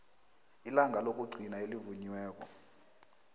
ilanga lokugcina elivunyiweko